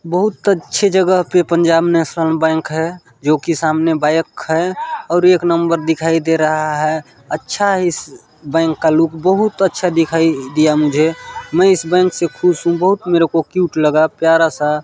बहुत अच्छे जगह पे पंजाब नेशनल बैंक हैं जो की सामने बाइक है और एक नंबर दिखाई दे रहा है अच्छा है इस बैंक का लुक बहुत अच्छा दिखाई दिया मुझे मैं इस बैंक से खुश हु मेरे को क्यूट लगा प्यारा सा।